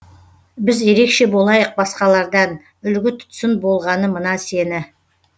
біз ерекше болайық басқалардан үлгі тұтсын болғаны мына сені